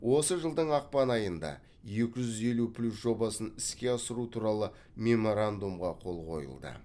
осы жылдың ақпан айында екі жүз елу плюс жобасын іске асыру туралы меморандумға қол қойылды